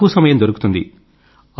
చాలా తక్కువ సమయం దొరుకుతుంది